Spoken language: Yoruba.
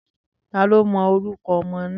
Taló mọ orúkọ ọmọ náà?